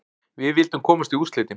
Við vildum komast í úrslitin.